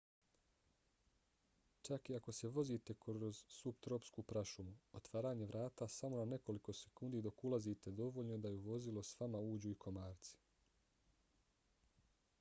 čak i ako se vozite kroz suptropsku prašumu otvaranje vrata samo na nekoliko sekundi dok ulazite dovoljno je da u vozilo s vama uđu i komarci